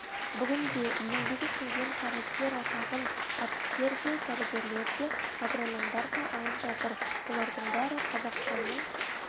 бүгінде еңбегі сіңген қайраткер атағын әртістер де дәрігерлер де агрономдар да алып жатыр олардың бәрі қазақстанның